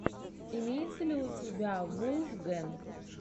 имеется ли у тебя вулфгэнг